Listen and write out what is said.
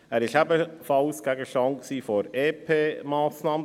Er war ebenfalls Gegenstand der EP-Massnahme.